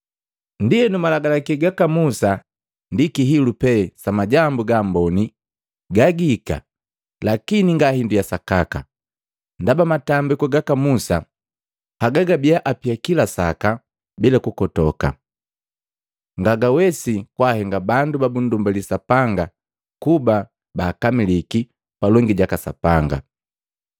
Ndienu malagalaki ga Musa ndi kihilu pe sa majambu ga amboni gagihika lakini nga hindu ya sakaka. Ndaba matambiku gaka musa haga gababia apia kila saka bila kukotoka, nga gawesi kwaahenga bandu babundumbali Sapanga kuba baakamilike palongi jaka Sapanga.